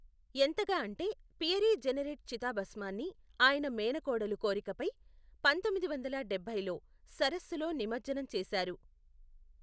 ఎంతగా అంటే Pierre Jeanneret చితాభస్మాన్ని ఆయన మేనకోడలు కోరికపై పంతొమ్మిది వందల డబ్బైలో సరస్సులో నిమజ్జనం చేశారు.